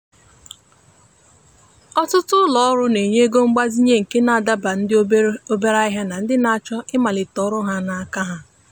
ọtụtụ ulo ọrụ na-enye ego mgbazinye nke na adabalu ndị obere ahịa na ndị na-achọ ịmalite ọrụ ha n’aka ha.